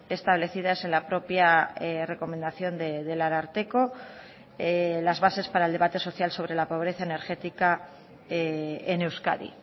establecidas en la propia recomendación del ararteko las bases para el debate social sobre la pobreza energética en euskadi